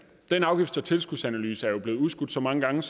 den afgifts og tilskudsanalyse er jo blevet udskudt så mange gange